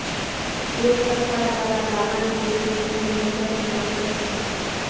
તે સરકાર દ્વારા પ્રમાણિત દેશની પહેલી નેત્રહીન ડોક્ટર છે